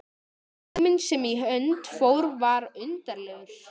Tíminn sem í hönd fór var undarlegur.